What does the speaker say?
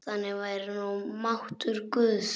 Þannig væri nú máttur guðs.